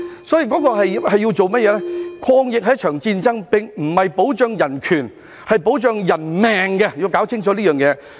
抗疫是一場戰爭，並非保障人權，而是保障人命，要搞清楚這件事。